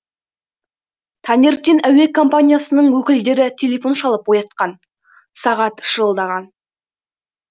таңертең әуе компаниясының өкілдері телефон шалып оятқан сағат шырылдаған